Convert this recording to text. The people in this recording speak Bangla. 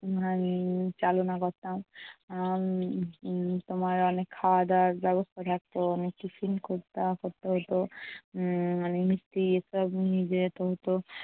উম আহ চালনা করতাম। উম উম তোমার অনেক খাওয়া দাওয়ার ব্যবস্থা থাকতো। অনেক tiffin করতা~ করতে হতো উম অনেক মিষ্টি এসব নিয়ে যেতে হতো।